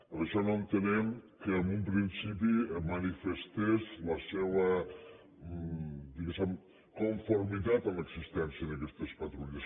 per això no entenem que en un principi manifestés la seua diguéssem conformitat en l’existència d’aquestes patrulles